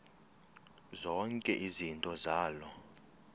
zonke izinto zaloo